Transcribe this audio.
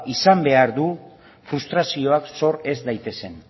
izan behar du frustrazioak sor ez daitezen